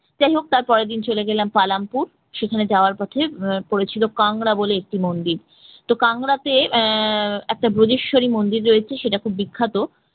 যাইহোক তারপরের দিন চলে গেলাম পালামপুর সেখানে যাওয়ার পথে আহ পড়েছিল কাংরা বলে একটি মন্দির তো কাংরাতে আহ একটা ব্রজেশ্বরী মন্দির রয়েছে সেটা খুব বিখ্যাত